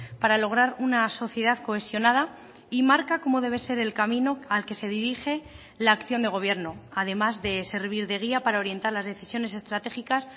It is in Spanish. para lograr una sociedad cohesionada y marca como debe ser el camino al que se dirige la acción de gobierno además de servir de guía para orientar las decisiones estratégicas